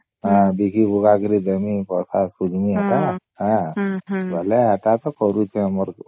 ବିକି ବୁକା କରି ଦେମୀ ପଇସା ସୁଝିମି ସବୁ ବୋଲେ ହେଟା ତ କରୁଛେ ଆମରକୁ